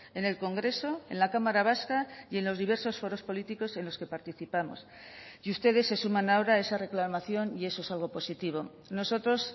en el congreso en la cámara vasca y en los diversos foros políticos en los que participamos y ustedes se suman ahora esa reclamación y eso es algo positivo nosotros